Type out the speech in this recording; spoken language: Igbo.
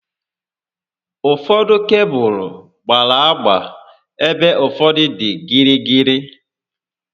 Ụfọdụ kebụlụ gbárá agba ebe ụfọdụ dị gịrịgịrị